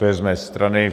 To je z mé strany.